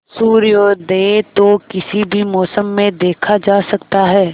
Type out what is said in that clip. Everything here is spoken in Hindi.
सूर्योदय तो किसी भी मौसम में देखा जा सकता है